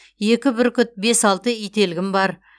екі бүркіт бес алты ителгім бар